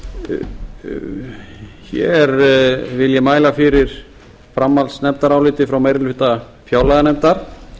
þingmenn hér vil ég mæla fyrir framhaldsnefndaráliti frá meiri hluta fjárlaganefndar